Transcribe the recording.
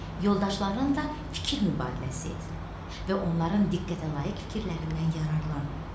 Yoldaşlarının da fikir mübadiləsi idi və onların diqqətə layiq fikirlərindən yararlan.